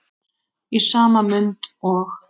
Í sama mund og